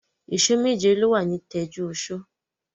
Ìsọ̀ méje ló wà ní Tẹ́júoṣó.